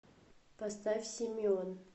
поставь симион